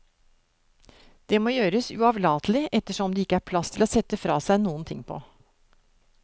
Det må gjøres uavlatelig, ettersom det ikke er plass til å sette fra seg noenting på.